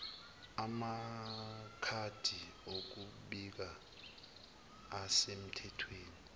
amakhadi okubika asemthethweni